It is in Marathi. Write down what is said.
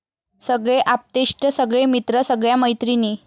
सगळे आप्तेष्ट, सगळे मित्र, सगळय़ा मैत्रिणी.